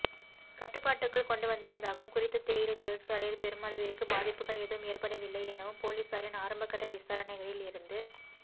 கட்டுபாட்டுக்குள் கொண்டு வந்துள்ளதாகவும குறித்த தேயிலை தொழிற்சாலையில் பெரும்மளவிற்கு பாதிப்புகள் எதுவும் ஏற்படவில்லையெனவும் பொலிஸாரின் ஆரம்பகட்ட விசாரனைகளில் இருந்து